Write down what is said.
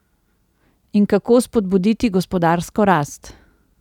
In kako spodbuditi gospodarsko rast?